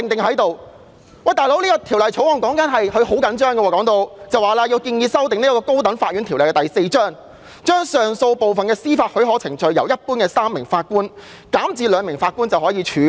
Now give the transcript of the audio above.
可是，她當初對《條例草案》卻好像非常着緊，聲言要修訂《高等法院條例》，把上訴部分的司法許可程序由一般的3名法官減至只需2名法官便可處理。